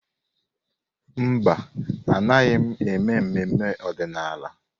Mba, Anaghị m eme ememe ọdịnala.